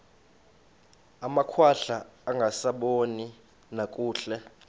amakhwahla angasaboni nakakuhle